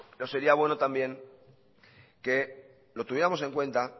no sería bueno también que lo tuviéramos en cuenta